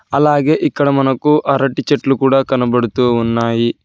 అలాగే ఇక్కడ మనకు అరటి చెట్లు కూడా కనబడుతూ ఉన్నాయి.